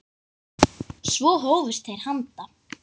Svo hófust þeir handa.